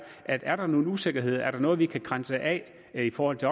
at er der nogle usikkerheder er der noget vi kan grænse af i forhold til